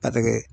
Batigɛ